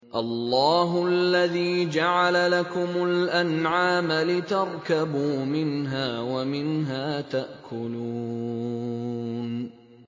اللَّهُ الَّذِي جَعَلَ لَكُمُ الْأَنْعَامَ لِتَرْكَبُوا مِنْهَا وَمِنْهَا تَأْكُلُونَ